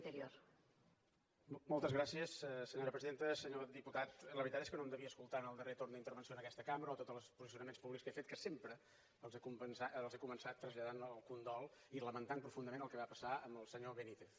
senyor diputat la veritat és que no em devia escoltar en el darrer torn d’intervenció en aquesta cambra o tots els posicionaments públics que he fet que sempre els he començat traslladant el condol i lamentant profundament el que va passar amb el senyor benítez